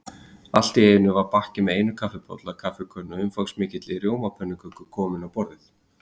Allt í einu var bakki með einum kaffibolla, kaffikönnu og umfangsmikilli rjómapönnuköku kominn á borðið.